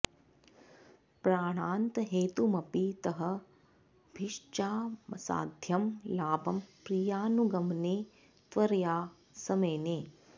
प्राणान्तहेतुमपि तं भिषजामसाध्यं लाभं प्रियानुगमने त्वरया स मेने